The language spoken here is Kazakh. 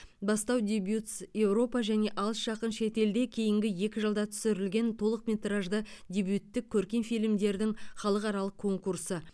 бастау дебютс еуропа және алыс жақын шетелде кейінгі екі жылда түсірілген толықметражды дебюттік көркем фильмдердің халықаралық конкурсы